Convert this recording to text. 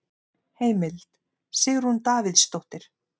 Heimild: Sigrún Davíðsdóttir.